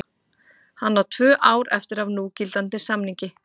Hann á tvö ár eftir af núgildandi samningi.